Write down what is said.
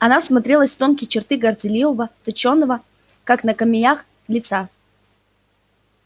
она всмотрелась в тонкие черты горделивого точёного как на камеях лица